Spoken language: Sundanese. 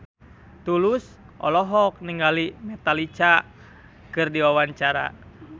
Tulus olohok ningali Metallica keur diwawancara